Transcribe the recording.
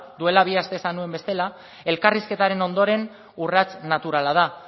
duela bi aste esan nuen bezala elkarrizketaren ondoren urrats naturala da